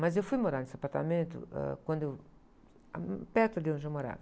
Mas eu fui morar nesse apartamento, ãh, quando eu... perto ali onde eu morava.